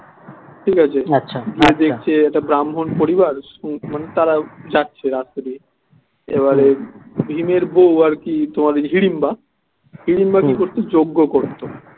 ঠিক আছে যে দেখছে একটা ব্রাহ্মণ পরিবার তারা যাচ্ছে রাত্রে এবারে ভীমের বৌ আর কি তোমার হিড়িম্বা হিড়িম্বা কি করতো যোগ্য করতো